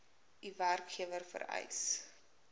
u werkgewer vereis